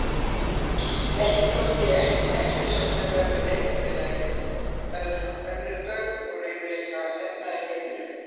Ekki þótti ég eftirsóknarverður leikfélagi, önnur börn voru yfirleitt frá efnaðri heimilum.